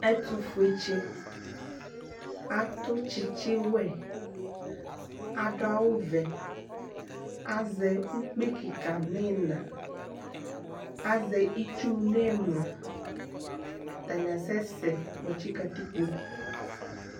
ɛtʋfʋetsi atʋ tsitsiwɛ adʋawʋvɛ azɛ ʋkpui kikaa nʋina azɛ itsʋʋ nimlia atani asɛsɛɛ kpotsi katikpo